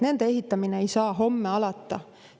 Nende ehitamine ei saa homme alata.